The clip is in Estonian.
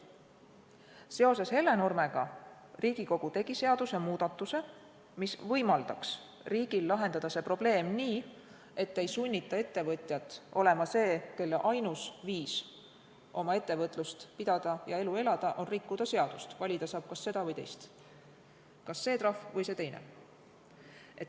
Seoses Hellenurmega tegi Riigikogu seadusemuudatuse, mis võimaldaks riigil lahendada see probleem nii, et ei sunnita ettevõtjat olema see, kelle ainus viis oma ettevõtet pidada ja elu elada on rikkuda seadust, valida saab kas seda või teist, kas see trahv või see teine.